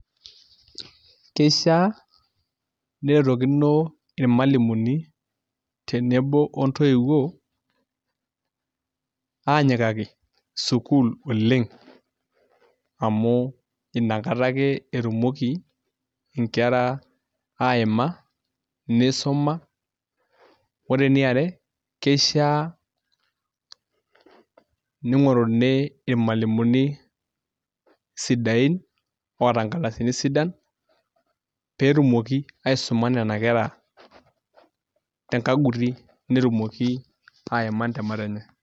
Keishiaa neretokino irmalimuni tenebo ontoiwuo aanyikaki sukuul oleng' amu inakata ake etumoki nkera aa aima amu isuma ore eniare kishiaa ning'oruni irmalimuni sidaain oota nkardasini sidan pee etumoki aisuma nena kera te nkaguti netumoki aima intemat enye.